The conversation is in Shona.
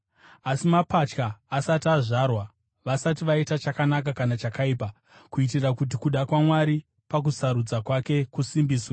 Asi mapatya asati azvarwa, vasati vaita chakanaka kana chakaipa, kuitira kuti kuda kwaMwari pakusarudza kwake kusimbiswe,